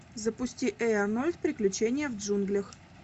запусти эй арнольд приключения в джунглях